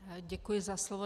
Děkuji za slovo.